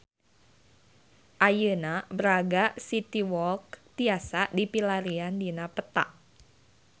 Ayeuna Braga City Walk tiasa dipilarian dina peta